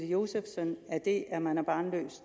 josefsen at det at man er barnløs